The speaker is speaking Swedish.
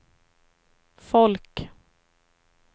folk